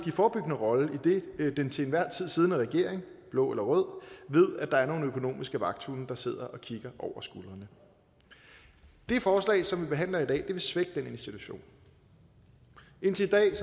forebyggende rolle idet den til enhver tid siddende regering blå eller rød ved at der er nogle økonomiske vagthunde der sidder og kigger over skulderen det forslag som vi behandler i dag vil svække den institution indtil i dag